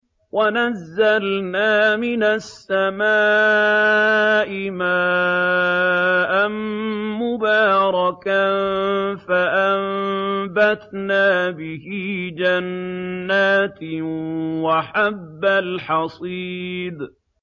وَنَزَّلْنَا مِنَ السَّمَاءِ مَاءً مُّبَارَكًا فَأَنبَتْنَا بِهِ جَنَّاتٍ وَحَبَّ الْحَصِيدِ